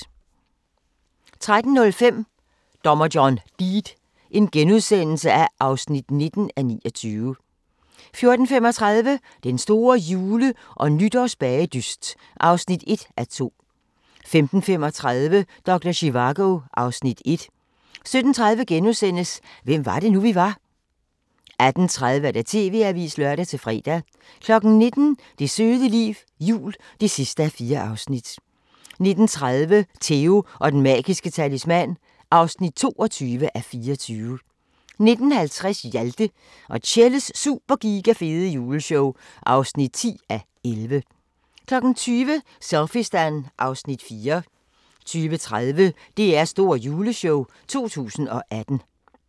13:05: Dommer John Deed (19:29)* 14:35: Den store jule- og nytårsbagedyst (1:2) 15:35: Doktor Zivago (Afs. 1) 17:30: Hvem var det nu, vi var? * 18:30: TV-avisen (lør-fre) 19:00: Det søde liv – jul (4:4) 19:30: Theo & den magiske talisman (22:24) 19:50: Hjalte og Tjelles Super Giga Fede Juleshow (10:11) 20:00: Selfiestan (Afs. 4) 20:30: DR's store juleshow 2018